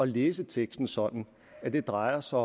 læse teksten sådan at det drejer sig